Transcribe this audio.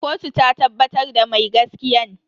Kotu ta tabbatar da mai gaskiyan.